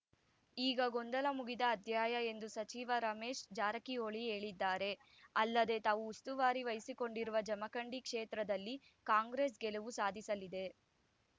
ಈಗ ಗೊಂದಲ ಮುಗಿದ ಅಧ್ಯಾಯ ಎಂದು ಸಚಿವ ರಮೇಶ್‌ ಜಾರಕಿಹೊಳಿ ಹೇಳಿದ್ದಾರೆ ಅಲ್ಲದೆ ತಾವು ಉಸ್ತುವಾರಿ ವಹಿಸಿಕೊಂಡಿರುವ ಜಮಖಂಡಿ ಕ್ಷೇತ್ರದಲ್ಲಿ ಕಾಂಗ್ರೆಸ್‌ ಗೆಲುವು ಸಾಧಿಸಲಿದೆ